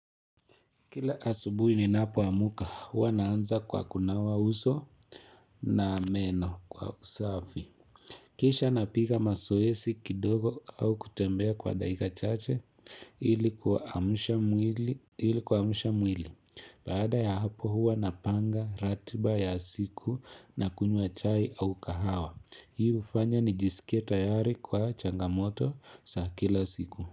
Kila asubui ninapo amka, huwa naanza kwa kunawa uso na meno kwa usafi. Kisha napika mazoezi kidogo au kutembea kwa dakika chache ili kuamsha mwili. Baada ya hapo huwa napanga ratiba ya siku na kunyua chai au kahawa. Hii hufanya ni jisikie tayari kwa changamoto za kila siku.